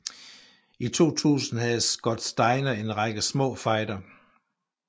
I 2000 havde Scott Steiner en række små fejder